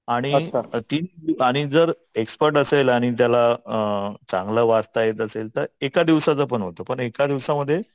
आणि जर आणि एक्सपर्ट असेल त्याला अ चांगलं वाचता येत असेल तर एका दिवसाचा पण होतो पण एका दिवसामध्ये